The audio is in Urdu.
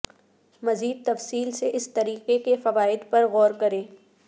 مزید تفصیل سے اس طریقے کے فوائد پر غور کریں